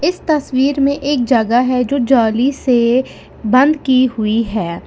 इस तस्वीर में एक जगह है जो जाली से बंद की हुई है।